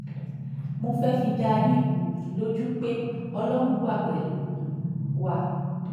mo fẹ́ẹ́ fi dá yín um lójú pé ọlọ́run wà pẹ̀lú um wa